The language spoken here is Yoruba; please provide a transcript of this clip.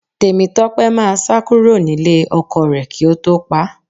Tèmítọ́pẹ́ máa sá kúrò nílé ọkọ rẹ̀ kí ó tó pá a